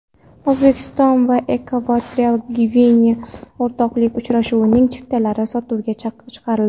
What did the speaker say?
O‘zbekiston va Ekvatorial Gvineya o‘rtoqlik uchrashuvining chiptalari sotuvga chiqarildi.